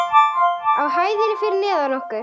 Á hæðinni fyrir neðan okkur.